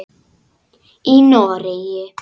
Í Noregi